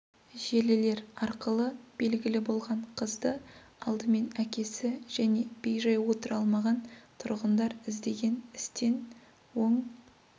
желілер арқылы белгілі болған қызды алдымен әкесі және бей-жай отыра алмаған тұрғындар іздеген істен оң